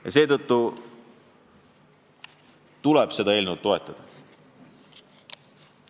Ja seetõttu tuleks seda eelnõu toetada.